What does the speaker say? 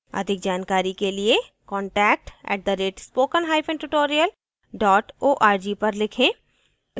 अधिक जानकारी के लिए contact @spoken hyphen tutorial dot org पर लिखें